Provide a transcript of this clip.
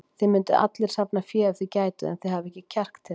Þið mynduð allir safna fé ef þið gætuð, en þið hafið ekki kjark til þess.